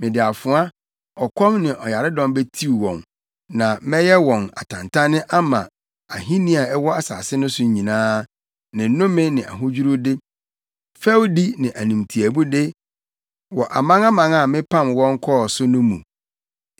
Mede afoa, ɔkɔm ne ɔyaredɔm betiw wɔn, na mɛyɛ wɔn atantanne ama ahenni a ɛwɔ asase no so nyinaa, ne nnome ne ahodwiriwde, fɛwdi ne animtiaabude wɔ amanaman a mepam wɔn kɔɔ so no mu.